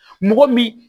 Mɔgɔ min